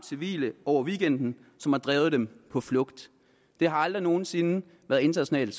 civile hen over weekenden som har drevet dem på flugt det har aldrig nogen sinde været internationale